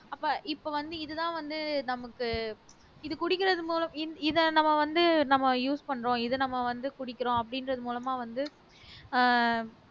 அப்ப இப்ப வந்து இதுதான் வந்து நமக்கு இது குடிக்கிறது மூலம் இத நம்ம வந்து நம்ம use பண்றோம் இத நம்ம வந்து குடிக்கிறோம் அப்படின்றது மூலமா வந்து